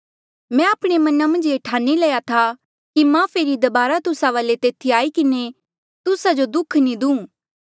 मैं आपणे मना मन्झ ये ई ठाणी लया था कि मां फेरी दबारा तुस्सा वाले तेथी आई किन्हें तुस्सा जो दुःख नी दूं